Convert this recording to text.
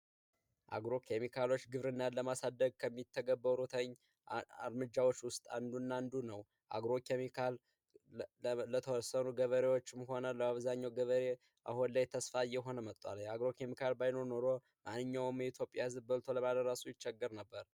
አግሮ ኬሚካሎች ግብርናን ለማሳደግ ከሚተገበው ሩተኝ አርምጃዎች ውስጥ አንዱናንዱ ነው። አግሮ ኬሚካል ለተወርሰኑ ገበሪዎች መሆነ ለማበዛኘው ገበሬ አሆን ላይ ተስፋ እየሆነ መጧል። የአግሮ ኬሚካል ባይኖ ኖሮ ማንኛውም የኢትዮጵያ ህዝብ በልቶ ለማደራሱ ይቸግር ነበር።